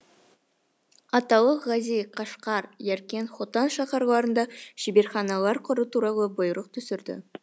аталық ғази қашқар яркент хотан шаһарларында шеберханалар құру туралы бұйрық түсірді